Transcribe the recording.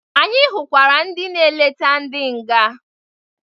Anyị hụkwara ndị na-eleta ndị nga.